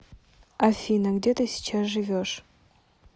афина где ты сейчас живешь